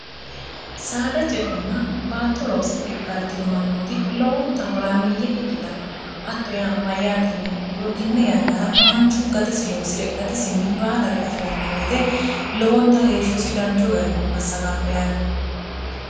saadra ce'enna battoloosi dhe galtinomannooti lowonta horaamiyye ikkitanno hatto yaano mayyaatiiniha ikkiro tenne yannara manchu gatesi loosi're gatisinni baalare afi'ranno beete lowonta heeshshosi danchu garinni massaqanno yaate